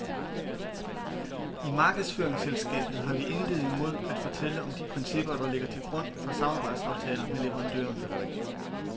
I markedsføringsselskabet har vi intet imod at fortælle om de principper, der ligger til grund for samarbejdsaftaler med leverandørerne.